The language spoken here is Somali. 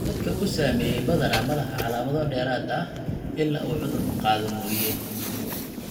Dadka uu saameeyey badanaa ma laha calaamado dheeraad ah ilaa uu cudurku qaado mooyee.